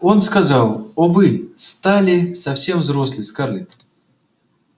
он сказал о вы стали совсем взрослой скарлетт